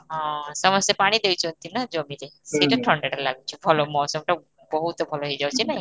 ହଁ ସମସ୍ତେ ପାଣି ଦେଇଛନ୍ତି ନା ଜମିରେ ସେଟା ଥଣ୍ଡାଟା ଲାଗୂଛି ଭଲ ଟା ବହୁତ ଭଲ ହେଇଯାଉଛି ନାଇଁ?